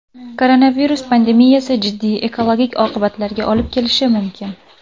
Koronavirus pandemiyasi jiddiy ekologik oqibatlarga olib kelishi mumkin.